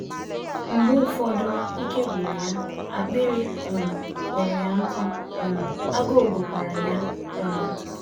Mgbe ụfọdụ ike gwụrụ ya, akpịrị um kpọrọ ya nkụ, um agụụ gụkwara ya. um